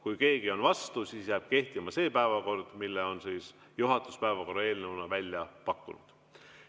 Kui keegi on vastu, siis jääb kehtima see päevakord, mille on juhatus päevakorra eelnõuna välja pakkunud.